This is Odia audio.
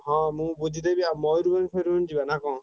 ହଁ ମୁଁ ବୁଝିଦେବି ଆଉ ମୟୂରଭଞ୍ଜ ଫୟୂରଭଞ୍ଜ ଯିବ ନା କଣ?